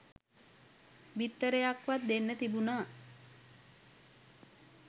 බිත්තරයක්වත් දෙන්න තිබුනා